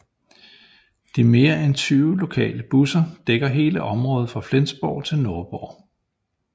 De mere end 20 lokale busser dækker hele området fra Flensborg til Nordborg